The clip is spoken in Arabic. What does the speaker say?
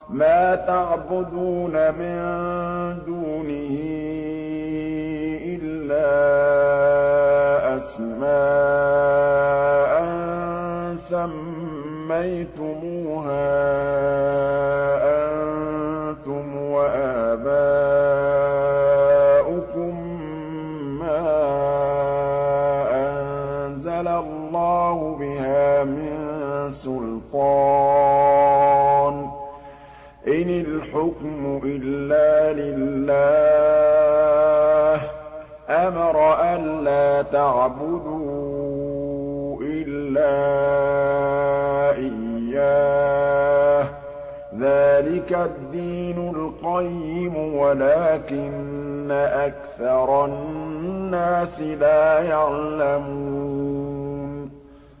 مَا تَعْبُدُونَ مِن دُونِهِ إِلَّا أَسْمَاءً سَمَّيْتُمُوهَا أَنتُمْ وَآبَاؤُكُم مَّا أَنزَلَ اللَّهُ بِهَا مِن سُلْطَانٍ ۚ إِنِ الْحُكْمُ إِلَّا لِلَّهِ ۚ أَمَرَ أَلَّا تَعْبُدُوا إِلَّا إِيَّاهُ ۚ ذَٰلِكَ الدِّينُ الْقَيِّمُ وَلَٰكِنَّ أَكْثَرَ النَّاسِ لَا يَعْلَمُونَ